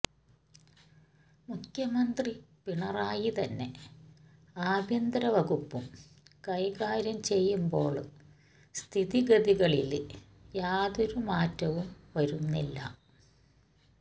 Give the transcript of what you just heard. മുഖ്യമന്ത്രി പിണറായിതന്നെ ആഭ്യന്തരവകുപ്പും കൈകാര്യം ചെയ്യുമ്പോള് സ്ഥിതിഗതികളില് യാതൊരു മാറ്റവും വരുന്നില്ല